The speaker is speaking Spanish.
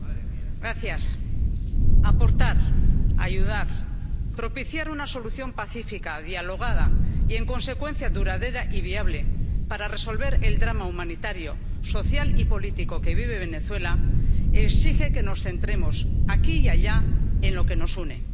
Señor presidente, aportar, ayudar, propiciar una solución pacífica, dialogada y, en consecuencia, duradera y viable para resolver el drama humanitario, social y político que vive Venezuela exige que nos centremos, aquí y allá, en lo que nos une.